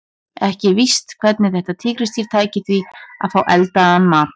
Ekki er víst hvernig þetta tígrisdýr tæki því að fá eldaðan mat.